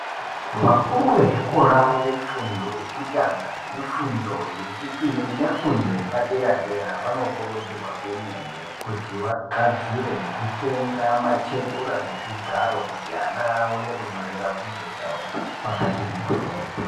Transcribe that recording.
Vakuru vezvikora zvefundo yekutanga nefundo yechipiri nefundo yepadera dera vanokurudzirwa kwemene kuti vagadzire nekutenga matebhura nezvigaro kuti ana aone kunyorera bvunzo dzawo pakati mborwo.